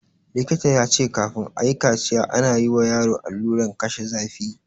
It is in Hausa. Likita ya ce kafin ayi kaciya ana yi wa yaro alluran kashe zafi